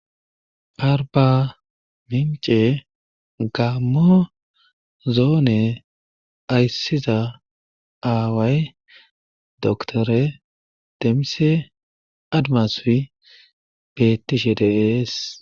Arbamince gaammo zone ayssiza aaway doctere demise admasuy beettishe de7es.